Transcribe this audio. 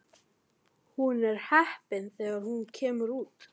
Hún er heppin þegar hún kemur út.